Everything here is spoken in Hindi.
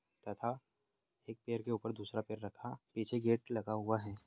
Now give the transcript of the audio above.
तथा एक पेर के ऊपर दूसरा पैर रखा पीछे गेट लगा हुवा है।